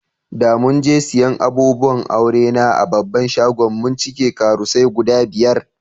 Da mun je siyan abubuwan aure na a babban shagon, mun cike karusai guda biyar.